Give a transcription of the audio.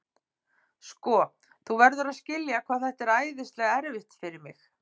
Sko, þú verður að skilja hvað þetta er æðislega erfitt fyrir mig.